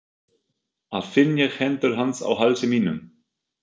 ar finn ég hendur hans á hálsi mínum.